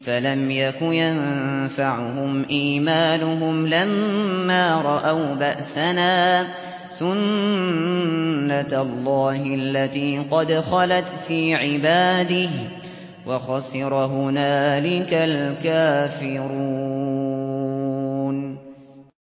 فَلَمْ يَكُ يَنفَعُهُمْ إِيمَانُهُمْ لَمَّا رَأَوْا بَأْسَنَا ۖ سُنَّتَ اللَّهِ الَّتِي قَدْ خَلَتْ فِي عِبَادِهِ ۖ وَخَسِرَ هُنَالِكَ الْكَافِرُونَ